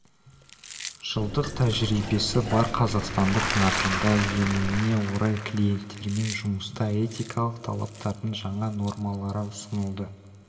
жылдық тәжірибесі бар қазақстандық нарығында енуне орай клиенттермен жұмыста этикалық талаптардың жаңа нормалары ұсынылды